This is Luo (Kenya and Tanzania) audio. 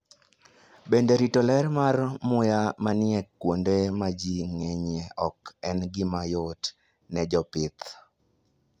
Bende, rito ler mar muya manie kuonde ma ji ng'enyie ok en gima yot ne jopith.